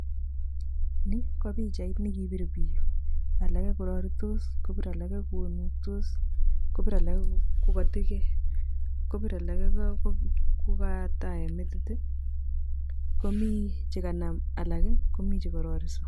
Ni ko pichait nekipiir biik, alak koraritos, kopiir alake konuktos, kopiir alake kotiekei, kopiir alake kokatae metit , komi chekanam alak , komi chekarariso.